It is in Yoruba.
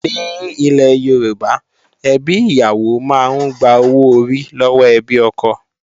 Ní ilẹ̀ Yorùbá, ẹbí ìyàwó máa ń gba owó orí lọ́wọ́ ẹbí ọkọ